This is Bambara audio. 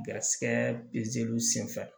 Garisigɛ senfɛ